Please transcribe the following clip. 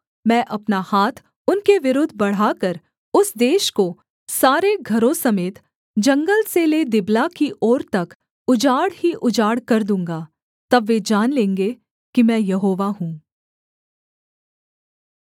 मैं अपना हाथ उनके विरुद्ध बढ़ाकर उस देश को सारे घरों समेत जंगल से ले दिबला की ओर तक उजाड़ ही उजाड़ कर दूँगा तब वे जान लेंगे कि मैं यहोवा हूँ